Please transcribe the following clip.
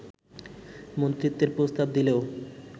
মন্ত্রিত্বের প্রস্তাব দিলেও